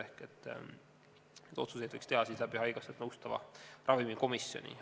Ehk neid otsuseid võiks teha haigekassat nõustava ravimikomisjoni kaudu.